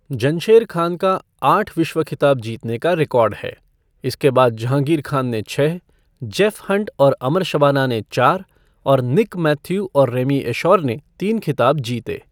जनशेर खान का आठ विश्व खिताब जीतने का रिकॉर्ड है, इसके बाद जहांगीर खान ने छह, जेफ़ हंट और अमर शबाना ने चार और निक मैथ्यू और रैमी एशौर ने तीन खिताब जीते।